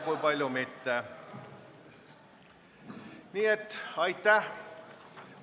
Nii et aitäh!